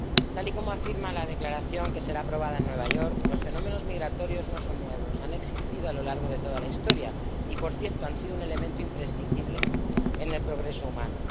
Tal y como se afirma en la declaración, que será aprobada en Nueva York, los fenómenos migratorios no son nuevos, han existido a lo largo de toda la historia y, por cierto, han sido un elemento imprescindible en el progreso humano.